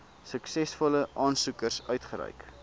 suksesvolle aansoekers uitgereik